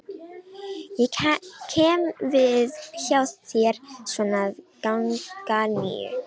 Ég kem við hjá þér svona að ganga níu.